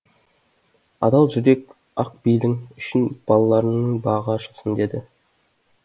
адал жүрек ақ бейлің үшін балаларыңның бағы ашылсын деді